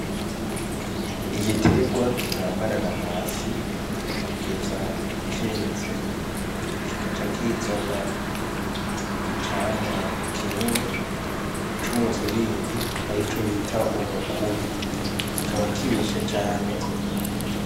Igiterwa kirambarara hasi kugeza ceze kikaca kizana icamwa kinini c'umuziringi arico ubita umukubi kikaba kibishe cane.